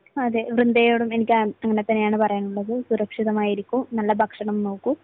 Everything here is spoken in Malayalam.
അതെ. വൃന്ദയോടും എനിക്ക് അങ്ങനെത്തന്നെയാണ് പറയാനുള്ളത്. സുരക്ഷിതമായിരിക്കൂ. നല്ല ഭക്ഷണത്തെ നോക്കൂ.